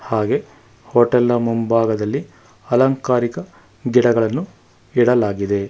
ಹಾಗೆ ಹೋಟೆಲ್ ನ ಮುಂಭಾಗದಲ್ಲಿ ಅಲಂಕಾರಿಕ ಗಿಡಗಳನ್ನು ಇಡಲಾಗಿದೆ.